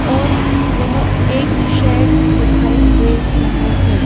और वह एक शेड दिखाई दे रहा है।